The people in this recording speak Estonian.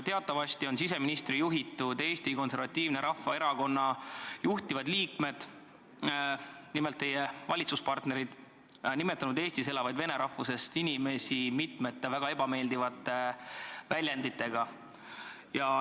Teatavasti on siseministri juhitud Eesti Konservatiivse Rahvaerakonna juhtivad liikmed, teie valitsuspartnerid, nimetanud Eestis elavaid vene rahvusest inimesi mitme väga ebameeldiva väljendiga.